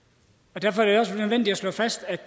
derfor er det også nødvendigt at slå fast at